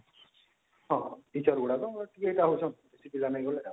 ହଁ teacher ଗୁଡାକ ଏଇ ଭଳିଆ ହଉଛନ କିଏ ପିଲା ନାଇଁ ଭଳିଆ